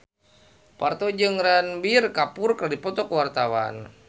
Parto jeung Ranbir Kapoor keur dipoto ku wartawan